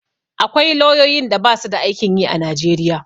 Akwai lauyoyin da basu da aikin yi a Najeriya.